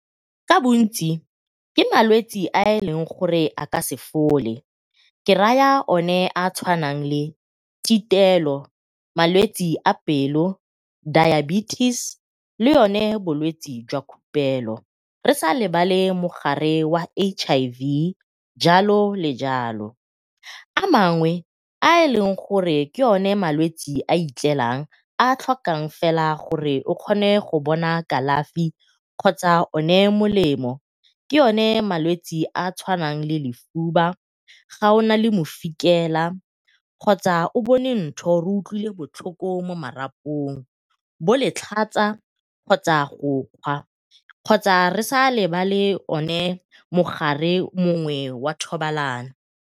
Ka bontsi ke malwetsi a e leng gore a ka se fole, ke raya one a a tshwanang le , malwetsi a pelo, diabetes, le yone bolwetsi jwa khupelo, re sa lebale mogare wa H_I_V jalo le jalo. A mangwe a e leng gore ke one malwetsi a a itlelang a a tlhokang fela gore o kgone go bona kalafi kgotsa o ne molemo ke o ne malwetsi a a tshwaneng le lefuba, ga o nale mofikela, kgotsa o bone ntho o utlwile botlhoko mo marapong, bo letlhatsa kgotsa go kgwa kgotsa re sa lebala one mogare mongwe wa thobalano.